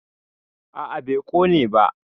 a a bai Kone ba